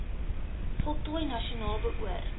voltooi nasionaal beoor